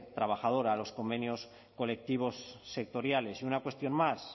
trabajadora los convenios colectivos sectoriales y una cuestión más